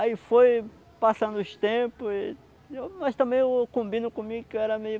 Aí foi passando os tempos, mas também eu combino comigo que eu era meio